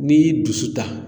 N'i y'i dusu ta